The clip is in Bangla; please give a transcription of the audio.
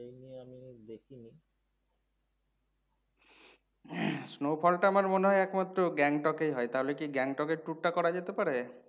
snowfall টা আমার মনে হয় একমাত্র Gangtok এ হয় তালে কি Gangtok এ tour টা করা যেতে পারে?